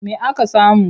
Me aka samu?